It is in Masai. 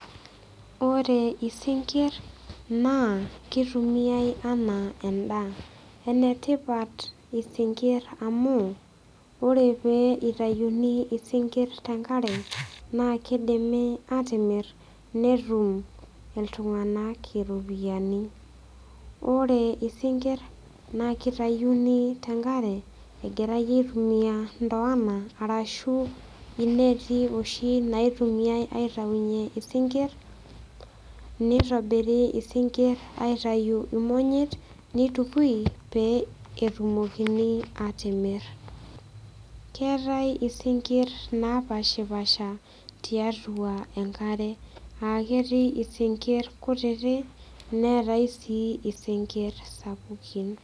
Ore isinkirr naa kitumiae enaa endaa enetipat isinkirr amu ore pee itayuni isinkirr tenkare naa kidimi atimirr netum iltung'anak iropiyiani ore isinkirr naa kitayuni tenkare egirae aitumia ndoana arashu ineti oshi naitumiae aitaunyie isinkirr nitobiri isinkirr imonyit pee etumoki atimirr keetae isinkirr napashipasha tiatua enkare aketii isinkirr kutitik neetae sii isinkirr sapukin.